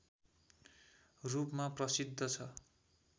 रूपमा प्रसिद्ध छ